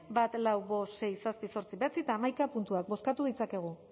bat lau bost sei zazpi zortzi bederatzi eta hamaika puntuak bozkatu dezakegu